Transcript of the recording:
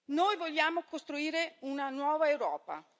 Noi vogliamo costruire una nuova Europa